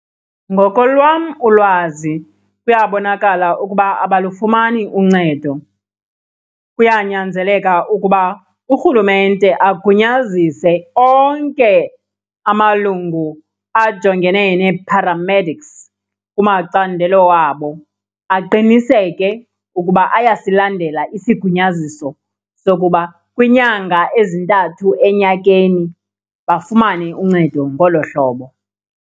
Ngokolwam ulwazi kuyabonakala ukuba abalufumani uncedo. Kuyanyanzeleka ukuba urhulumente agunyazise onke amalungu ajongene nee-paramedics kumacandelo wabo, aqiniseke ukuba ayasilandela isigunyaziso sokuba kwiinyanga ezintathu enyakeni bafumane uncedo ngolo hlobo.